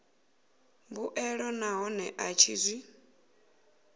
mbuelo nahone a tshi zwi